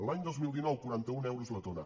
l’any dos mil dinou quaranta un euros la tona